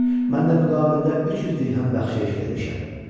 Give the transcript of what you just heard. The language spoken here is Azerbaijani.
Mən də müqabilində 300 dirhəm bəxşəiş vermişəm.